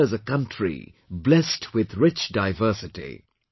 India is a country blessed with rich diversity